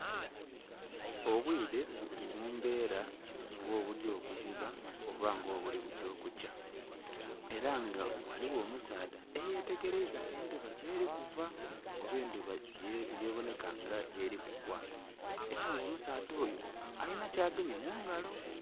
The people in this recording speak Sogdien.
Obwire buli mumbeera nga obugya okuziba oba nga obuli kugya okukya, ela nga ghaligho omusaadha eyetegeleiza endhuba gyeli kuva oba endhuba yebonheka nga gyeli kugwa. Ela nga omusaadha oyo alina kyagemye mu ngalo.